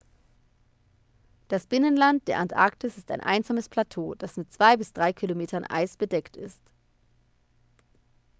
das binnenland der antarktis ist ein einsames plateau das mit 2-3 km eis bedeckt ist